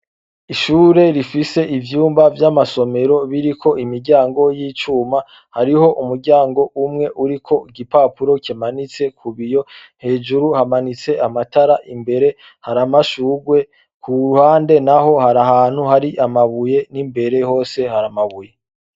Ishure rifise ivyumba vy'amasomero biriko imiryango y'icuma hariho umuryango umwe uriko igipapuro kimanitse ku biyo hejuru hamaniste amatara imbere har’amashurwe ku ruhande naho hari ahantu hari amabuye n'imbere hose hari amabuye.